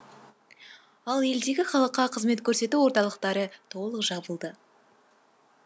ал елдегі халыққа қызмет көрсету орталықтары толық жабылды